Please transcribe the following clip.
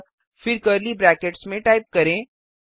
अतः फिर curly brackets में टाइप करें